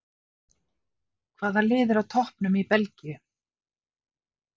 Hvaða lið er á toppnum í Belgíu?